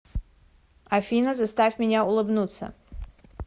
афина заставь меня улыбнуться